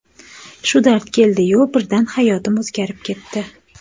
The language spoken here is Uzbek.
Shu dard keldiyu, birdan hayotim o‘zgarib ketdi.